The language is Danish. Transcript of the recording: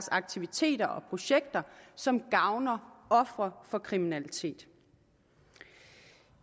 aktiviteter og projekter som gavner ofre for kriminalitet